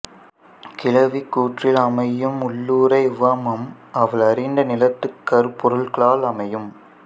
கிழவி கூற்றில் அமையும் உள்ளுறை உவமம் அவள் அறிந்த நிலத்துக் கருப்பொருள்களால் அமையும்